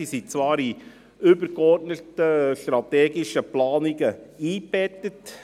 Diese waren zwar in übergeordnete strategische Planungen eingebettet.